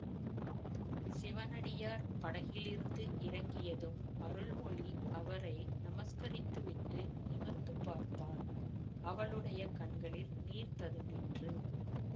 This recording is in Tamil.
சிவனடியார் படகிலிருந்து இறங்கியதும் அருள்மொழி அவரை நமஸ்கரித்து விட்டு நிமிர்ந்து பார்த்தாள் அவளுடைய கண்களில் நீர் ததும்பிற்று